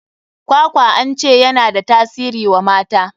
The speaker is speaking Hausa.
Kwakwa an ce ya na da tasiri wa mata.